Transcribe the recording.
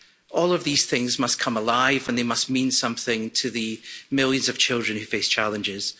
all of these things must come alive and they must mean something to the millions of children who face challenges.